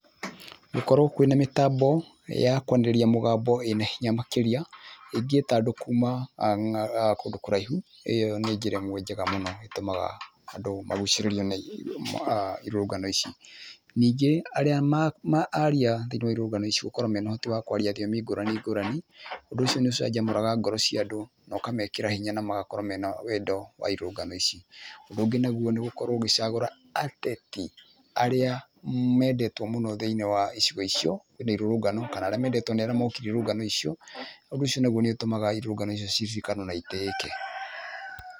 Gũkorwo kwĩna mĩtambo ya kwanĩrĩria mũgambo ĩna hinya makĩria ĩgĩta andũ kũma kũndũ kũraihu ĩyo nĩ njera ĩmwe njega ĩtũmaga andũ magũcirĩrwo nĩ irurũngano ici, ningĩ arĩa aria thĩinĩ wa irũrũngano ici gũkorwo mena ũhoti wa kwaria thiomi ngũrani ngũrani ũndũ ũcio nĩ ũcangamũraga ngoro cia andũ no kamekĩra hinya na magakorwo mena wendo wa irũrũngano ici ,ũndũ ũngĩ nagũo nĩ gũkorwo ũgĩcagũra ateti arĩa mendetwo mũno thĩinĩ wa icigo icio nĩ irũrũngano kana nĩ arĩa mokĩre irũrũngano icio ũndũ ũcio nagũo nĩ ũtũmaga irũrũgano icio na ũndũ ũcio nĩ ũtũmaga irũrũngano icio cikare na citĩike.